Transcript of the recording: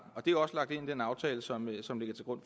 og det er også lagt ind den aftale som som ligger til grund